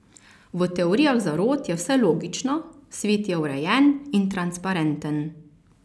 V teorijah zarot je vse logično, svet je urejen in transparenten.